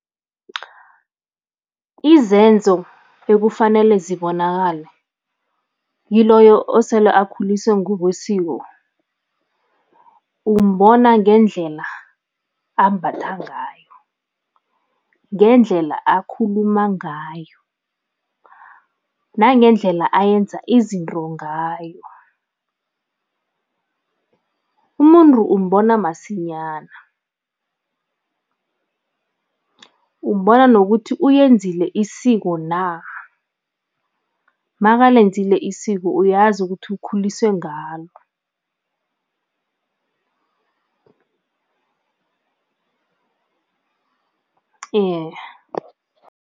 Izenzo ekufanele zibonakale kiloyo osele akhuliswe ngokwesiko, umbona ngendlela ambatha ngayo, ngendlela akhuluma ngayo nangendlela ayenza izinto ngayo. Umuntu umbona masinyana, umbona nokuthi uyenzile isiko na, makalenzile isiko, uyazi ukuthi ukhuliswe ngalo